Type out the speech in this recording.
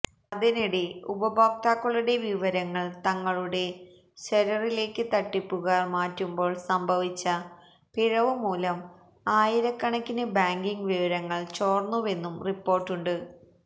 അതിനിടെ ഉപയോക്താക്കളുടെ വിവരങ്ങള് തങ്ങളുടെ സെര്വറിലേക്ക് തട്ടിപ്പുകാര് മാറ്റുമ്പോള് സംഭവിച്ച പിഴവ് മൂലം ആയിരക്കണക്കിന് ബാങ്കിംഗ് വിവരങ്ങള് ചോര്ന്നുവെന്നും റിപ്പോര്ട്ടുണ്ട്